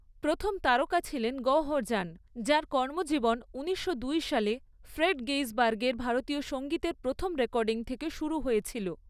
প্রথম তারকা ছিলেন গওহর জান, যাঁর কর্মজীবন উনিশশো দুই সালে ফ্রেড গেইসবার্গের ভারতীয় সঙ্গীতের প্রথম রেকর্ডিং থেকে শুরু হয়েছিল।